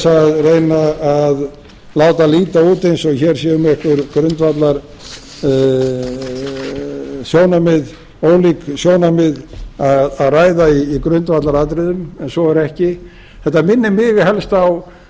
að reyna að láta líta út eins og hér sé um einhver ólík sjónarmið að ræða í grundvallaratriðum en svo er ekki þetta minnir mig helst